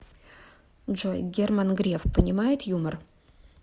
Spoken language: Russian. джой герман греф понимает юмор